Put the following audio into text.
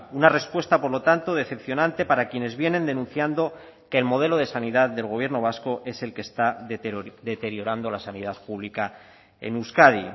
una respuesta por lo tanto decepcionante para quienes vienen denunciando que el modelo de sanidad del gobierno vasco es el que está deteriorando la sanidad pública en euskadi